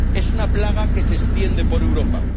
Es una plaga que se extiende por Europa.